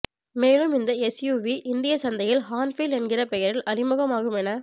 மேலும் இந்த எஸ்யூவி இந்திய சந்தையில் ஹார்ன்பில் என்கிற பெயரில் அறிமுகமாகும் என